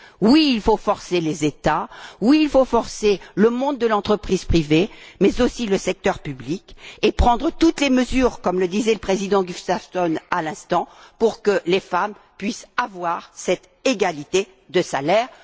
Oui, il faut forcer les États, oui il faut forcer le monde de l'entreprise privée, mais aussi le secteur public, et prendre toutes les mesures, comme le disait le président Gustafsson, à l'instant, pour que les femmes puissent bénéficier de cette égalité de salaire.